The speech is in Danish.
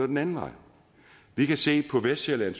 den anden vej vi kan se at på vestsjælland og